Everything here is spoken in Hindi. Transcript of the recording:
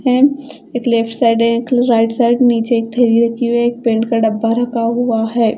हेम एक लेफ्ट साइड है एक राइट साइड । नीचे एक थैली रखी हुई है एक पेंट का डब्बा रखा हुआ है।